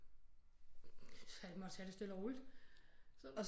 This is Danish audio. Satme også tage det stille og roligt så